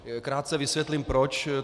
Krátce vysvětlím proč.